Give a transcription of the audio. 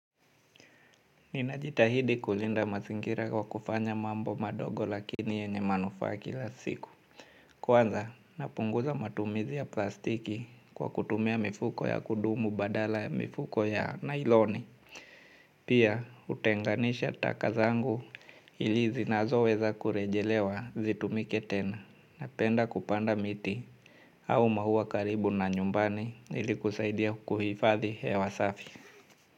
Ninajitahidi kulinda masingira kwa kufanya mambo madogo lakini yenye manufa kila siku. Kwanza, napunguza matumizi ya plastiki kwa kutumia mifuko ya kudumu badala ya mifuko ya nailoni. Pia, utenganisha takazangu ili zinazo weza kurejelewa zitumike tena napenda kupanda miti au mahuwa karibu na nyumbani ili kusaidia kuhifadhi hewa safi.